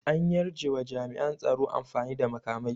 An yarjewa jami'an tsaro amfani da makamai